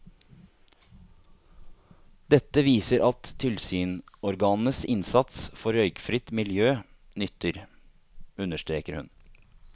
Dette viser at tilsynsorganenes innsats for røykfritt miljø nytter, understreker hun.